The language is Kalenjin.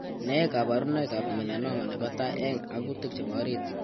Nee kabarunoikab melanoma nebo tai eng' akutanik chebo orit?